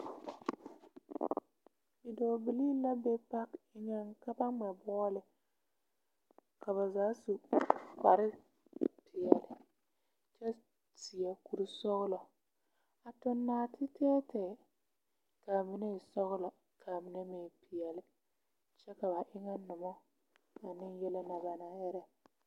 Bidɔɔ bilii la be pake eŋɛŋ ka ba ŋmɛ bɔɔle. Ka ba zaa su kpare peɛle kyɛ seɛ kuri sɔgelɔ, a toŋ naate tɛɛtɛɛ ka a mine e sɔgelɔ ka a minemeŋ e peɛle kyɛ ka ba eŋɛ noma ane yeli na ba naŋ erɛ.